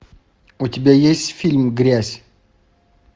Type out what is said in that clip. у тебя есть фильм грязь